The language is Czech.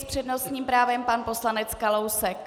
S přednostním právem pan poslanec Kalousek.